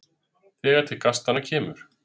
Þegar til kastanna kemur